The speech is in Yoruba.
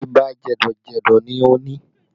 Ibà jẹ̀dọ̀ jẹ̀dọ̀ ni o ni